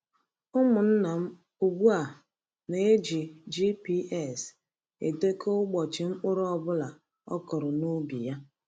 Umunna m ugbu a na-eji GPS edekọ ụbọchị mkpụrụ ọ bụla o kụrụ n’ubi ya.